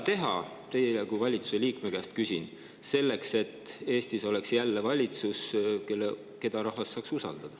Küsin teie kui valitsuse liikme käest, mida teha, et Eestis oleks jälle valitsus, keda rahvas saaks usaldada.